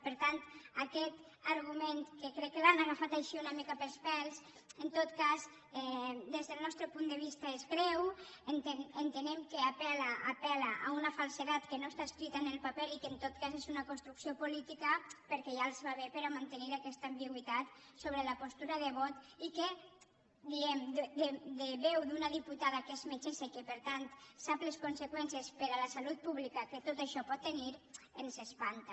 per tant aquest argument que crec que l’han agafat així una mica pels pèls en tot cas des del nostre punt de vista és greu entenem que apel·la a una falsedat que no està escrita en el paper i que en tot cas és una construcció política perquè ja els va bé per mantenir aquesta ambigüitat sobre la postura de vot i que diem de veu d’una diputada que és metgessa i que per tant sap les conseqüències per a la salut pública que tot això pot tenir ens espanta